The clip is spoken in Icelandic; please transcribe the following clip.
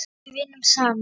Við vinnum saman.